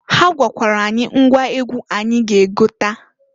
Ha gwakwara anyị ngwa egwu anyị ga egota.